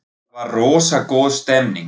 Það var rosa góð stemning.